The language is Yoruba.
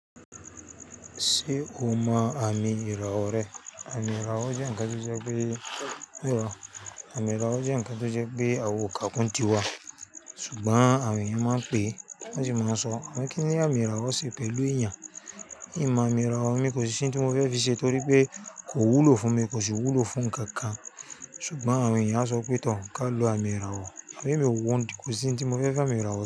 Ṣé o mọ àmì ìràwọ̀ rẹ? Àmì ìràwọ̀ jẹ́ ǹkan tó jẹ́ pé, àwa ò kàákún tiwa, ṣùgbọ́n àwọn èèyàn máa ń pe, máa ń jẹ́ máa sọ, àwọn kíni àmì ìràwọ̀ ṣe pẹ̀lú èèyàn? N ma àmì ìràwọ̀, mi kò sì ní ohun tí mo fẹ́ fi ṣe torí pé kò wúlò fún mi, kò sì wúlò fún ǹkan kan. Ṣùgbọ́n àwọn èèyàn á sọ pé, tọ̀ ká lo àmì ìràwọ̀. Àmọ́ mi wọ́n kò sí ohun tí mo fẹ́ fi àmì ìràwọ̀ ṣe.